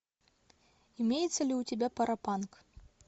имеется ли у тебя паропанк